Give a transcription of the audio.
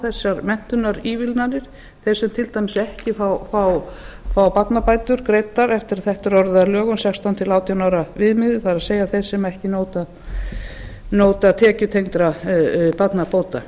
þessar menntunarívilnanir þeir sem til dæmis ekki fá barnabætur greiddar eftir að þetta er orðið að lögum sextán til átján ára viðmiðið það er þeir sem ekki njóta tekjutengdra barnabóta